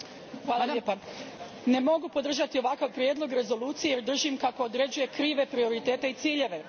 Gospodine predsjedniče, ne mogu podržati ovakav prijedlog rezolucije, jer držim kako određuje krive prioritete i ciljeve.